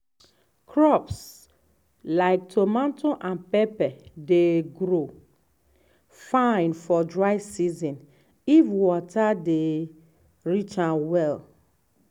crops like tomato and pepper dey grow fine for dry season if water dey reach am well.